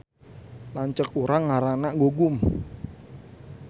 Lanceuk urang ngaranna Gugum